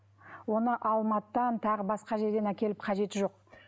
оны алматыдан тағы басқа жерден әкеліп қажеті жоқ